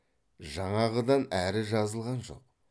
жаңағыдан әрі жазылған жоқ